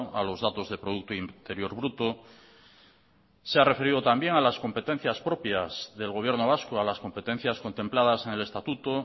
a los datos de producto interior bruto se ha referido también a las competencias propias del gobierno vasco a las competencias contempladas en el estatuto